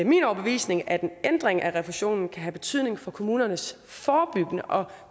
min overbevisning at en ændring af refusionen kan have betydning for kommunernes forebyggende og